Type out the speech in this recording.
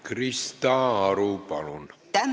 Krista Aru, palun!